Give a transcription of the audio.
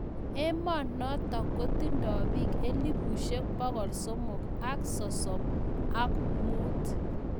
Emonotok kotindai biik elebushek pokol somok ak sosom ak muut.